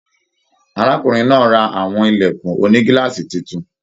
Arákùnrin náà rà àwọn ilẹkùn ònígíláàsì títún.